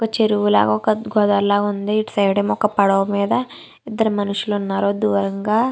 ఒక చెరువు లాగా ఒక గోదావరి లాగా ఉంది ఇటు సైడ్ ఏమో ఒక పడవ మీద ఇద్దరు మనుషులు ఉన్నారు దూరంగా.